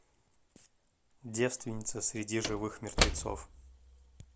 девственница среди живых мертвецов